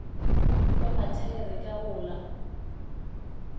wa mathaere ka go la